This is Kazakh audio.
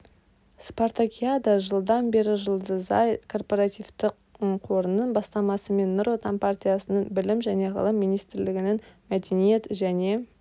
спартакиада жылдан бері жұлдызай корпоративті қорының бастамасымен нұр отан партиясының білім және ғылым министрлігінің мәдениет және